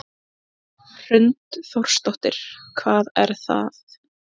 Hrund Þórsdóttir: Hvað er það?